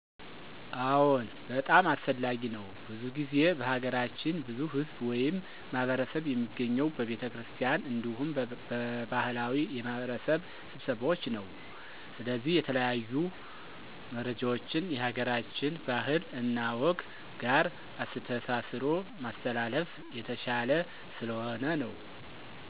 አዎን በጣም አስፈላጊ ነው። ብዙ ጊዜ በሀገራችን ብዙ ህዝብ ወይም ማህበረሰብ የሚገኘው በቤተክርስቲያን አንዲሁም በባሀላዊ የማህበረሰብ ስብሰባዎች ነው። ስለዚህ የተለያዩ መረጃዎችን የሀገራችን ባህል እና ወግ ጋር አስተሳስሮ ማስተላለፍ የተሸለ ስለሆነ ነው።